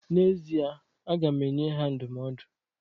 N'ezie aga m enye ha ndụmọdụ.